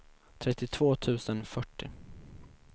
trettiotvå tusen fyrtio